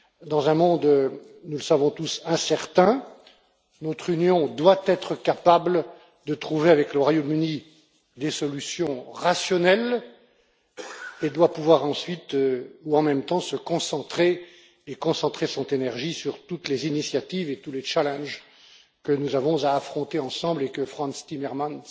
Dans un monde nous le savons tous incertain, notre Union doit être capable de trouver avec le Royaume Uni des solutions rationnelles et doit pouvoir ensuite, ou en même temps, se concentrer et concentrer son énergie sur toutes les initiatives et tous les défis que nous avons à affronter ensemble et que Frans Timmermans